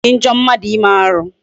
Ọ dị njọ mmadụ ime arụ.